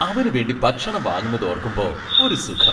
അവനുവേണ്ടി ഭക്ഷണം വാങ്ങുന്നതോർക്കുമ്പോ ഒരു സുഖം.